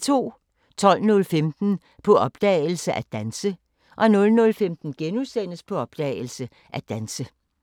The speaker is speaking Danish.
12:15: På opdagelse – At danse 00:15: På opdagelse – At danse *